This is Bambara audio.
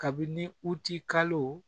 Kabini u t'i kalo